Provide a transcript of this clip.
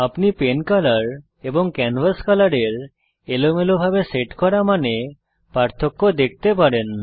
আপনি pen colour এবং canvas colour এর এলোমেলোভাবে সেট করা মানে পার্থক্য দেখতে পারেন